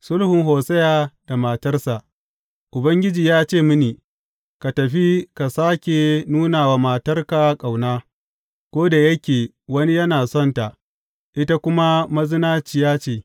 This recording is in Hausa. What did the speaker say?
Sulhun Hosiya da matarsa Ubangiji ya ce mini, Ka tafi, ka sāke nuna wa matarka ƙauna, ko da yake wani yana son ta, ita kuma mazinaciya ce.